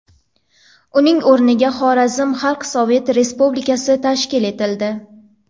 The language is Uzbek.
Uning o‘rniga Xorazm Xalq Sovet Respublikasi tashkil etildi.